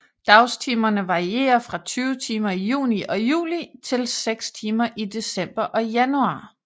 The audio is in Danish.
Dagstimerne varierer fra 20 timer i juni og juli til 6 timer i december og januar